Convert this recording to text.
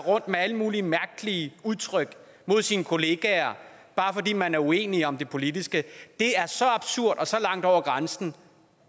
med alle mulige mærkelige udtryk mod sine kollegaer bare fordi man er uenige om det politiske er så absurd og så langt over grænsen